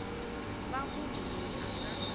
va munhu loyi a nga